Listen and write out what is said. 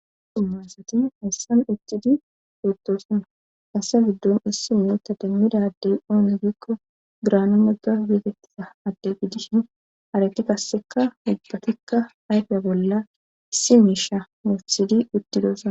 dummaasati hessan ictidi pootosunna assa giddon issi meitta demmidadey oone giikko giraana mega beatettisa adde gidishin harati kasseka ibbatikka ayfiya bolla issi miisha muthidi uttidosona